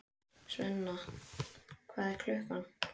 Sveina, hvað er klukkan?